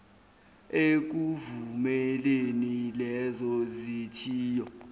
ekuvumeleni lezo zithiyo